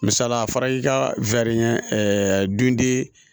Misalila a fɔra i ka dun de